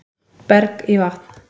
Berg í vatn